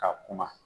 Ka kuma